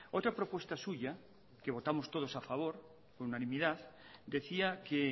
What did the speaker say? otra propuesta suya que votamos todos a favor con unanimidad decía que